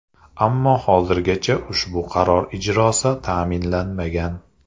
Ammo hozirgacha ushbu qaror ijrosi ta’minlanmagan.